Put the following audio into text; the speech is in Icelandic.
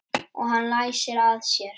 Og hann læsir að sér.